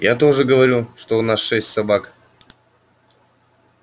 я тоже говорю что у нас шесть собак